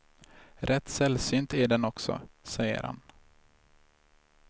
Rätt sällsynt är den också, säger han.